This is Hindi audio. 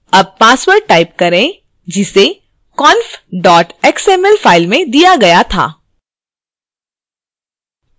अब password type करें जिसे conf xml file में दिया गया था